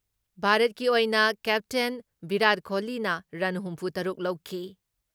ꯚꯥꯔꯠꯀꯤ ꯑꯣꯏꯅ ꯀꯦꯞꯇꯦꯟ ꯕꯤꯔꯥꯠ ꯀꯣꯍꯂꯤꯅ ꯔꯟ ꯍꯨꯝꯐꯨ ꯇꯔꯨꯛ ꯂꯧꯈꯤ ꯫